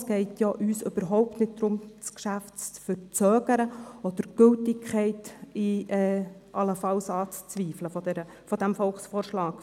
Es geht uns ja überhaupt nicht darum, das Geschäft zu verzögern oder die Gültigkeit dieses Volksvorschlags allenfalls anzuzweifeln.